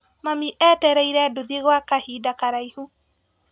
Mami etereire nduthi gwa kahinda karaihu.